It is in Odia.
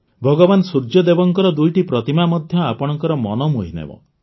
ଭଗବାନ ସୂର୍ଯ୍ୟଦେବଙ୍କ ଦୁଇଟି ପ୍ରତିମା ମଧ୍ୟ ଆପଣଙ୍କର ମନ ମୋହିନେବ